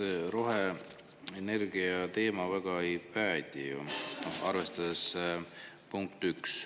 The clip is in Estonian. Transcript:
No see roheenergia teema väga ei päde ju, punkt üks.